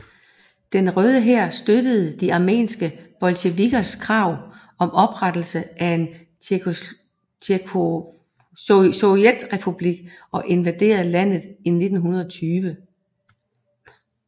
Den Røde Hær støttede de armenske bolsjevikkers krav om oprettelse af en sovjetrepublik og invaderede landet i 1920